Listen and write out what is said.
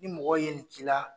Ni mɔgɔw ye nin k'i la